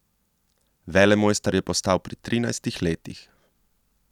Velemojster je postal pri trinajstih letih!